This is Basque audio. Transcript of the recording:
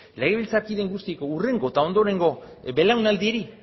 legebiltzarkide guztiek hurrengo eta ondorengo belaunaldiei